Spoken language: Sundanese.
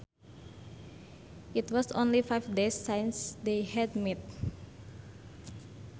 It was only five days since they had met